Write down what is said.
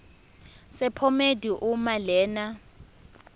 sephomedi uma lena